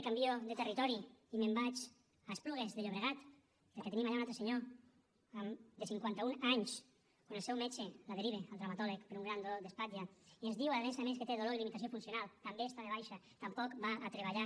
i canvio de territori i me’n vaig a esplugues de llobregat perquè tenim allà un altre senyor de cinquanta un anys que el seu metge el deriva al traumatòleg per un gran dolor d’espatlla i ens diu a més a més que té dolor i limitació funcional també està de baixa tampoc va a treballar